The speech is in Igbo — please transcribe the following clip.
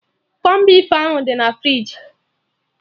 Kọn beef ahụ dị na friji